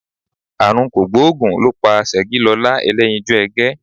Àrùn kògbóògùn ló pa Ṣẹ̀gilọlá Ẹlẹ́yinjú Ẹgẹ́